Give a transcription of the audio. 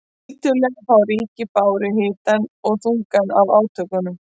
Tiltölulega fá ríki báru hitann og þungann af átökunum.